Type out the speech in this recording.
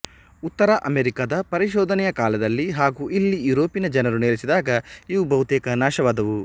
ಉತ್ತರ ಅಮೆರಿಕದ ಪರಿಶೋಧನೆಯ ಕಾಲದಲ್ಲಿ ಹಾಗೂ ಇಲ್ಲಿ ಯೂರೋಪಿನ ಜನರು ನೆಲೆಸಿದಾಗ ಇವು ಬಹುತೇಕ ನಾಶವಾದುವು